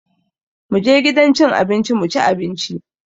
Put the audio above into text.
Mu je gidan cin abinci mu ci abinci!